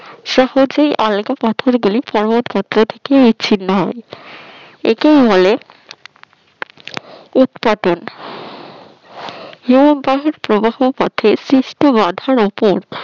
সহজেই আলগা পাথরগুলি পর্বত গাত্র থেকে বিচ্ছিন্ন হয় একেই বলে উটপাটন হিমবাহের প্রবাহ পথে সৃষ্ট বাধার উপর